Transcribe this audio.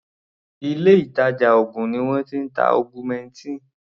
Ilé ìtàjà oògùn ni wọ́n ti ń ta augmentin.